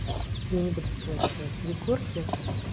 я не буду скрывать это от егорки